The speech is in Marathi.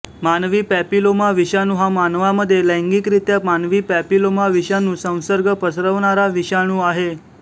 मानवी पॅपिलोमा विषाणू हा मानवामध्ये लैंगिक रित्या मानवी पॅपिलोमा विषाणू संसर्ग पसरवणारा विषाणू आहे